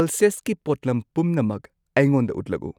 ꯄꯜꯁꯦꯁꯀꯤ ꯄꯣꯠꯂꯝ ꯄꯨꯝꯅꯃꯛ ꯑꯩꯉꯣꯟꯗ ꯎꯠꯂꯛꯎ꯫